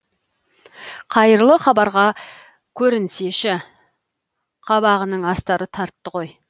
қайырлы хабарға көрінсеші қабағының асты тартты ғой